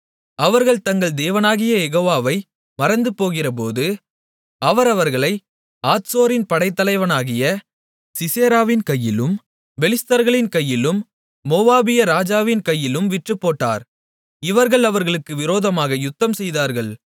அவர்கள் தங்கள் தேவனாகிய யெகோவாவை மறந்துபோகிறபோது அவர் அவர்களை ஆத்சோரின் படைத்தலைவனாகிய சிசெராவின் கையிலும் பெலிஸ்தர்களின் கையிலும் மோவாபிய ராஜாவின் கையிலும் விற்றுப்போட்டார் இவர்கள் அவர்களுக்கு விரோதமாக யுத்தம்செய்தார்கள்